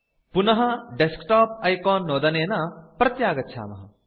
पुनः desktop icon नोदनेन प्रत्यागच्छामः